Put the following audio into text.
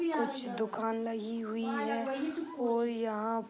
कुछ दुकान लगी हुई है ओर यहां --